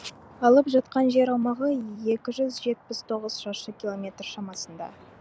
алып жатқан жер аумағы екі жүз жетпіс тоғыз шаршы километр шамасында